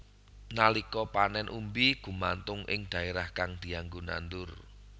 Nalika panén umbi gumantung ing dhaérah kang dianggo nandur